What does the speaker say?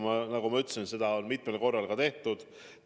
Ja nagu ma ütlesin, seda on mitmel korral ka tehtud.